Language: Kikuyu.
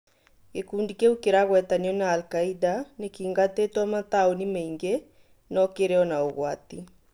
gĩkundi kĩu kĩragwetanio na alkaida nĩkĩingatĩtwo mataũninĩ maingĩ no kĩrĩ ona ũgwati